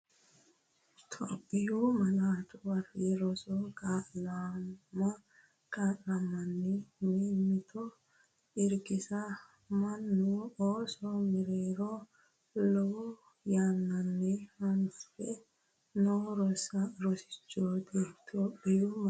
Itophiyu Malaatu Afii Roso Kaa’lama Kaa’lamanna mimmito irkisa mannu ooso mereero lowo yannanni hanafe noo rosichooti Itophiyu Malaatu Afii Roso.